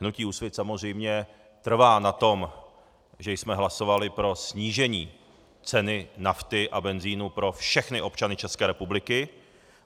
Hnutí Úsvit samozřejmě trvá na tom, že jsme hlasovali pro snížení ceny nafty a benzinu pro všechny občany České republiky.